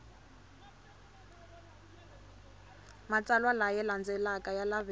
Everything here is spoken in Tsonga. matsalwa laya landzelaka ya laveka